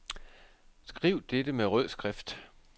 Skriv dette med rød skrift.